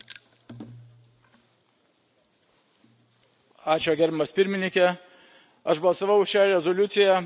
Gerbiamas Pirmininke, aš balsavau už šią rezoliuciją kaip vienas iš nedaugelio šioje salėje, gimęs tremty.